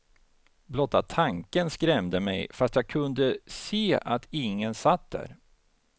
Blotta tanken skrämde mig, fast jag kunde se att ingen satt där.